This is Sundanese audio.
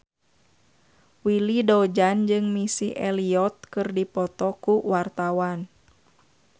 Willy Dozan jeung Missy Elliott keur dipoto ku wartawan